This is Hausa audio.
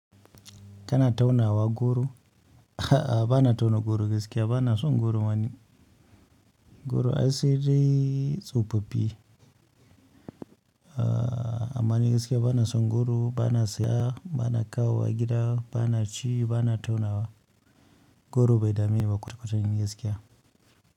Kana taunawa goro. A'a, ba na tauna goro gaskiya, ba na so goro mani. Goro ai sai dai tsofaffi. Amma ni gaskiya ba na son goro, ba na saya, ba na kawo wa gida, ba na ci, ba na taunawa. Goro bai dame niba kwata-kwata ni gaskiya.